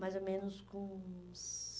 Mais ou menos com uns